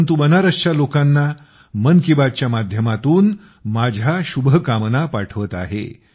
परंतु बनारसच्या लोकांना मन की बातच्या माध्यमातून माझ्य़ा शुभकामना पाठवत आहे